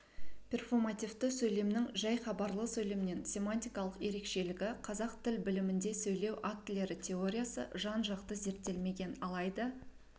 перфомативті сөйлемнің жай хабарлы сөйлемнен семантикалық ерекшелегі қазақ тіл білімінде сөйлеу актілері теориясы жан-жақты зерттелмеген алайда